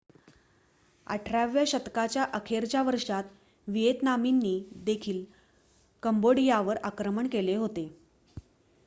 18 व्या शतकाच्या अखेरच्या वर्षांत व्हिएतनामींनी देखील कंबोडियावर आक्रमण केले होते